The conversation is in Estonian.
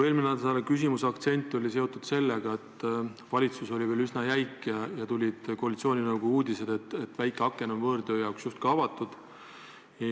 Eelmise nädala küsimuse aktsent oli seotud sellega, et valitsus on selles suhtes veel üsna jäik, aga tulid koalitsiooninõukogu uudised, et väike aken on võõrtööjõu jaoks justkui avatud.